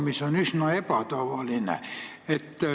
See on üsna ebatavaline.